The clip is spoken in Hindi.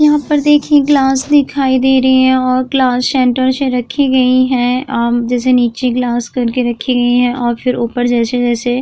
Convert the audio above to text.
यहां पर देख सकते हैं ग्लास दिखाई दे रहे हैं और ग्लास सेंटर से रखी गई है अम जैसे नीचे ग्लास करके रखे गए हैं और फिर ऊपर जैसे-जैसे --